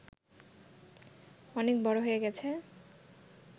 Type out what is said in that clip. অনেক বড় হয়ে গেছে